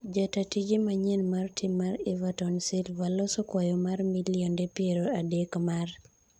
Jata tije manyien mar tim mar Everton Silva loso kwayo mar milionde piero adek mar